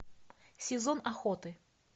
сезон охоты